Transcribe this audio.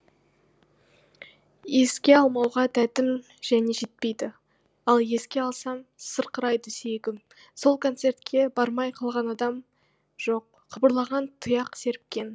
еске алмауға дәтім және жетпейді ал еске алсам сырқырайды сүйегім сол концертке бармай қалғанадам жоқ қыбырлаған тұяқ серіпкен жан серіпкен